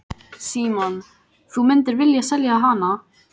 Símon: Þú myndir vilja selja hana?